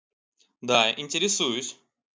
да интересуюсь